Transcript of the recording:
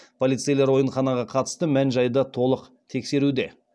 полицейлер ойынханаға қатысты мән жайды толық тексеруде